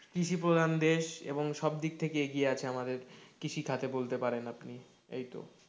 কৃষি প্রধান দেশ এবং সব দিক থেকে এগিয়ে আছে আমাদের কৃষিখাতে বলতে পারেন আপনি এইতো,